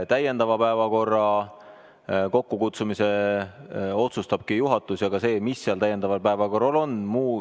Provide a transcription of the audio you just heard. Täiendava istungi kokkukutsumise otsustabki juhatus, samuti selle, mis seal täiendaval istungil päevakorras on.